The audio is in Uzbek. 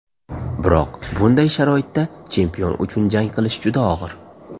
Biroq bunday sharoitda chempion uchun jang qilish juda og‘ir.